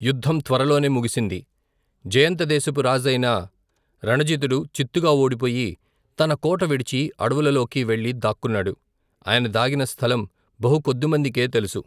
యుద్ధం త్వరలోనే ముగిసింది. జయంత దేశపు రాజైన రణజితుడు చిత్తుగా ఓడిపోయి, తన కోట విడిచి అడవులలోకి వెళ్లి దాక్కున్నాడు. ఆయన దాగిన స్థలం బహుకొద్దిమందికే తెలుసు.